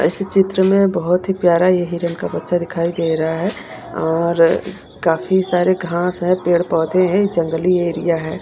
इस चित्र में बहुत ही प्यारा ये हिरण का बच्चा दिखाई दे रहा है और अ काफी सारे घास है पेड़ पौधे हैं जंगली एरिया है।